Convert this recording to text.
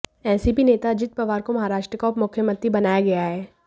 NCP नेता अजित पवार को महाराष्ट्र का उपमुख्यमंत्री बनाया गया है